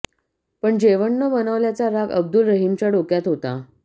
पण जेवण न बनवल्याचा राग अब्दुल रहिमच्या डोक्यात होता